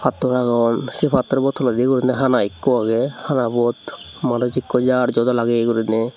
pattor agon sey pattorbo toledi guriney hana ikko agey hanabot manus ikko jar joda lageye guriney.